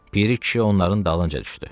Piri kişi onların dalınca düşdü.